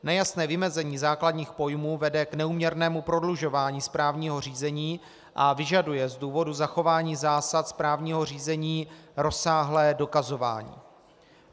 Nejasné vymezení základních pojmů vede k neúměrnému prodlužování správního řízení a vyžaduje z důvodu zachování zásad správního řízení rozsáhlé dokazování.